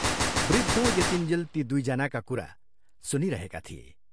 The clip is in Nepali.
वृद्ध यतिन्जेल यी दुइ जनाका कुरा सुनिरहेका थिए।